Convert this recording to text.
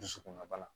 Dusukunna bana